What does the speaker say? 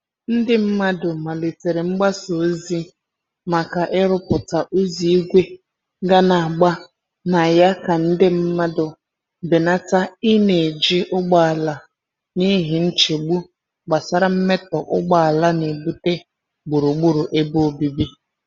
Ndị mmadụ malitere mgbasa ozi maka iruputa ụzọ igwe ga n'agba na ya ka nde mmandu benata i n'eji ụgbọala n'ihi nchegbu gbasara mmetọ ugboala nebute gburugburu ebe obibi.